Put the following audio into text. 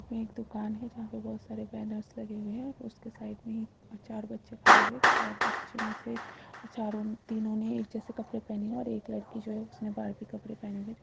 यह एक दुकान हैं जहाँ पे बहुत सारे बैनर्स लगे हुए हैं और उसके साइड में एक चार बच्चे खड़े हुए हैं चार बच्चे में से चारो तीनो ने एक जैसे कपड़े पहने हैं और एक लड़की जो हैं उसने बार्बी कपड़े पहने हुए हैं।